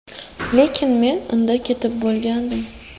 Lekin men unda ketib bo‘lgandim”.